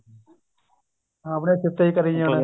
ਆਪਣੀਆ ਸਿਫ਼ਤਾਂ ਹੀ ਕਰੀ ਜਾਣੀ